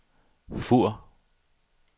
Fur